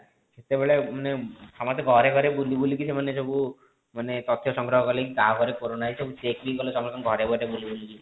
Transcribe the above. ସେତେବେଳେ ମାନେ ସମସ୍ତେ ଘରେ ଘରେ ବୁଲି ବୁଲି କି ସେମାନେ ସବୁ ମାନେ ତଥ୍ୟ ସଂଗ୍ରହ କଲେ କି କା ଘରେ କୋରୋନା ହେଇଛି ସବୁ check କଲେ ସମସ୍ତଙ୍କ ଘରେ ଘରେ ବୁଲି ବୁଲି କି